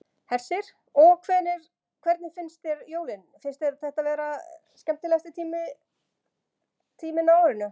Hersir: Og hvernig finnst þér jólin, finnst þér þetta vera skemmtilegasti tíminn á árinu?